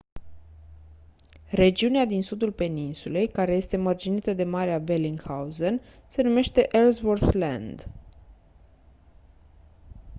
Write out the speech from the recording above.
regiunea din sudul peninsulei care este mărginită de marea bellingshausen se numește ellsworth land